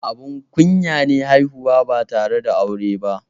Abun kunya ne haihuwa ba tare da aure ba.